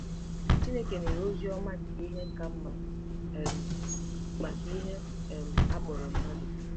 Chineke nwere ozi ọma nke ihe ka mma um maka ihe um a kpọrọ mmadụ.